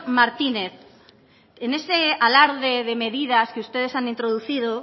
martínez en ese alarde de medidas que ustedes han introducido